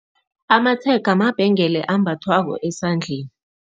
Amatshega mabhengela ambathwako esandleni.